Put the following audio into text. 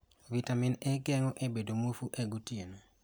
Vitamin A geng�o bedo muofu e gotieno.